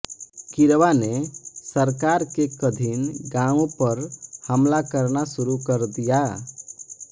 किरवा ने सरकार के कधीन गांवो पर हमला करना सुरु कर दिया